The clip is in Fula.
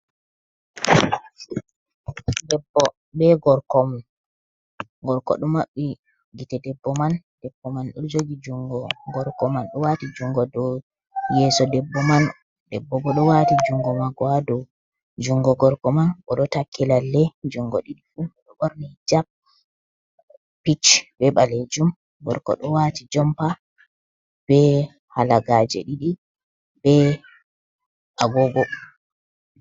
Debbo bee gorko, gorko ɗo maɓɓi gite, debbo man debbo man ɗo jogi junngo gorko man do waati junngo dow yeeso debbo man, debbo boo ɗo waati junngo maako haa dow junngo gorko man boo ɗo takki lalle junngo ɗiɗi fuu. o ɗo ɓorni hijap, pink bee baleejum, gorko ɗo waati jompa bee halagaaje ɗiɗi bee agoogo.